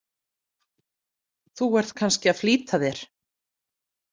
Þú ert kannski að flýta þér.